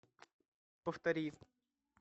повтори